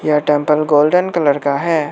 यह temple golden colour का है।